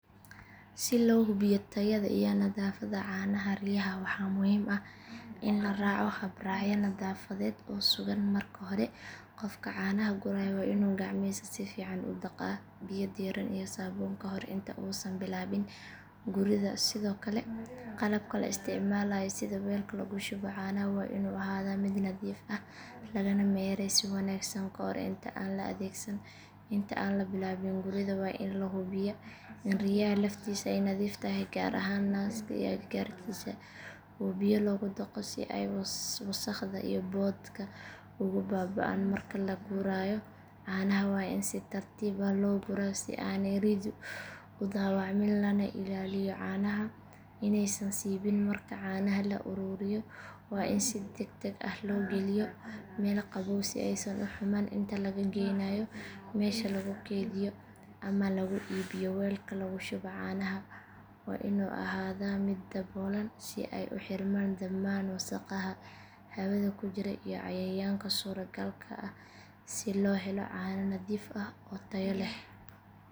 Si loo hubiyo tayada iyo nadaafadda caanaha riyaha waxaa muhiim ah in la raaco habraacyo nadaafadeed oo sugan marka hore qofka caanaha guraya waa inuu gacmihiisa si fiican u dhaqaa biyo diirran iyo saabuun ka hor inta uusan bilaabin guridda sidoo kale qalabka la isticmaalayo sida weelka lagu shubo caanaha waa inuu ahaadaa mid nadiif ah lagana mayray si wanaagsan ka hor inta aan la adeegsan inta aan la bilaabin guridda waa in la hubiyaa in riyaha laftiisu ay nadiif tahay gaar ahaan naaska iyo agagaarkiisa oo biyo lagu dhaqo si ay wasakhda iyo boodhka uga baaba’aan marka la guraayo caanaha waa in si tartiib ah loo guraa si aanay ri’du u dhaawacmin lana ilaaliyo caanaha inaysan siibin marka caanaha la ururiyo waa in si degdeg ah loo geliyo meel qabow si aysan u xumaan inta laga geynaayo meesha lagu kaydiyo ama lagu iibiyo weelka lagu shubo caanaha waa inuu ahaadaa mid daboolan si ay u xirmaan dhammaan wasakhaha hawada ku jira iyo cayayaanka suuragalka ah si loo helo caano nadiif ah oo tayo leh.